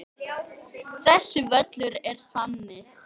Þessi völlur er þannig.